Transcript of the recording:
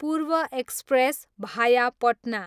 पूर्व एक्सप्रेस, भाया पटना